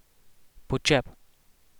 Počep.